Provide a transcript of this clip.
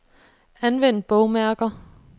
Anvend bogmærker.